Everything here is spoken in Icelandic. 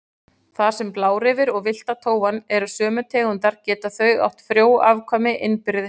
Þar sem blárefir og villta tófan eru sömu tegundar geta þau átt frjó afkvæmi innbyrðis.